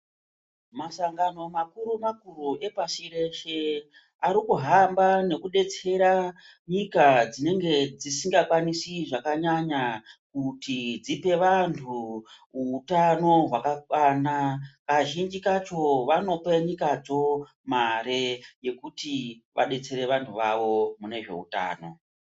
Masangano makuru makuru pashi reshe arikuhamba nekudetsera nyika dzinenge dzisinga kwanisi zvakanyanya kuti dzipe vanhu utano hwakakwana kazhinji kacho vanope nyikadzo mare yekuti vadetsere vanhu vavo munezveutano.